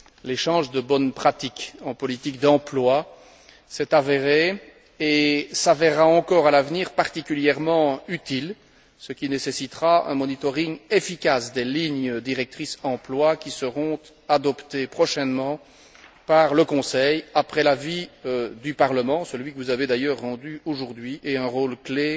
L'échange de bonnes pratiques en matière d'emploi s'est avéré et s'avérera encore à l'avenir particulièrement utile, ce qui nécessitera un suivi efficace des lignes directrices emploi qui seront adoptées prochainement par le Conseil, après l'avis du Parlement celui que vous avez d'ailleurs rendu aujourd'hui et un rôle clé